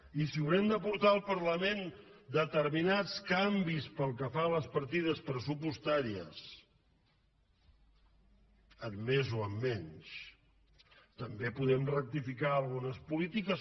i si haurem de portar al parlament determinats canvis pel que fa a les partides pressupostàries en més o en menys també podem rectificar algunes polítiques